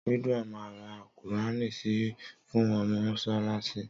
Ridwan ma ra qùránì si fún mọ́ṣáláṣí.